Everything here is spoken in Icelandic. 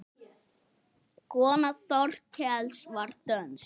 Kona Þorkels var dönsk.